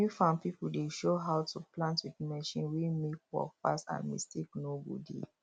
new farm pipo dey show how to plant with machine wey mek work fast and mistake no go dey